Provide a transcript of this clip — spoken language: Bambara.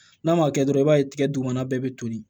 N'a ma kɛ dɔrɔn i b'a ye tigɛ dugumana bɛɛ bɛ toli